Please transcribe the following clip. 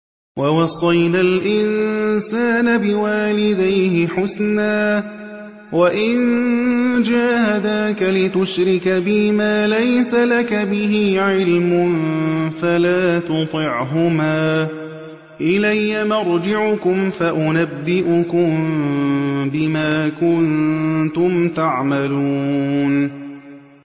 وَوَصَّيْنَا الْإِنسَانَ بِوَالِدَيْهِ حُسْنًا ۖ وَإِن جَاهَدَاكَ لِتُشْرِكَ بِي مَا لَيْسَ لَكَ بِهِ عِلْمٌ فَلَا تُطِعْهُمَا ۚ إِلَيَّ مَرْجِعُكُمْ فَأُنَبِّئُكُم بِمَا كُنتُمْ تَعْمَلُونَ